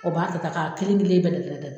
O b'a ta ta k'a kelen- kelen bɛɛ da da da